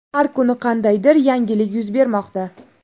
Har kuni qandaydir yangilik yuz bermoqda.